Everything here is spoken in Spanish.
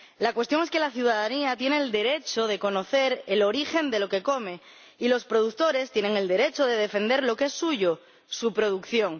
La cuestión es que la ciudadanía tiene el derecho de conocer el origen de lo que come y los productores tienen el derecho de defender lo que es suyo su producción.